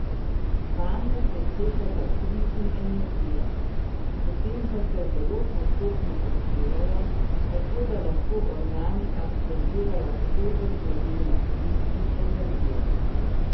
Vanje se stekata kri in energija, potem pa se zelo postopno odpirajo, tako da lahko organi absorbirajo svežo zdravilno kri in energijo.